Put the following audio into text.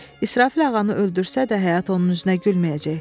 İsrafil ağanı öldürsə də həyat onun üzünə gülməyəcək.